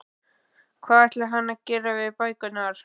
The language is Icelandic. Hvað ætlaði hann að gera við bækurnar?